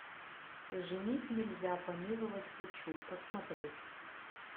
женить нельзя помиловать хочу посмотреть